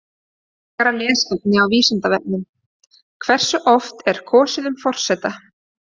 Frekara lesefni á Vísindavefnum: Hversu oft er kosið um forseta?